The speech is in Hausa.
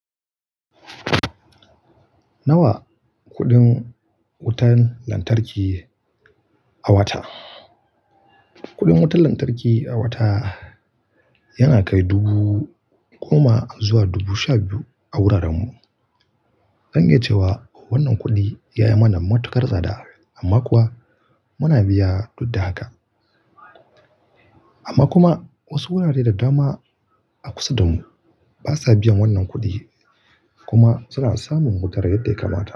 Nawa kuɗin wutan lantarki a wata? Kuɗin wutan lantarki a wata yana kai dubu goma zuwa dubu sha biyu a wurarenmu. Zan iya cewa wannan kuɗi ya yi mana matuƙar tsada amma kuwa muna biya duk da haka. Amma kuma wasu wurare da dama a kusa da mu basa biyan wannan kuɗi kuma su na samun wuta yadda ya kamata.